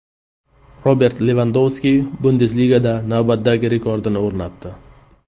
Robert Levandovski Bundesligada navbatdagi rekordini o‘rnatdi.